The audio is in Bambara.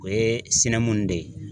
O ye sɛnɛmu in de ye.